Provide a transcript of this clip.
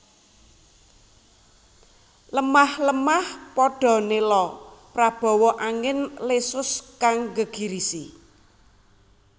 Lemah lemah padha nela prabawa angin lesus kang nggegirisi